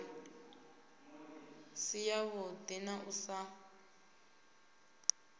si yavhuḓi na u sa